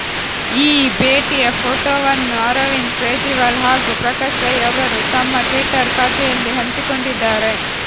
ಈ ಭೇಟಿಯ ಫೋಟೋವನ್ನು ಅರವಿಂದ್ ಕೇಜ್ರೀವಾಲ್ ಹಾಗೂ ಪ್ರಕಾಶ್ ರೈ ಅವರು ತಮ್ಮ ಟ್ವಿಟ್ಟರ್ ಖಾತೆಯಲ್ಲಿ ಹಂಚಿಕೊಂಡಿದ್ದಾರೆ